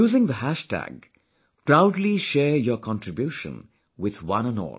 Using the hashtag, proudly share your contribution with one & all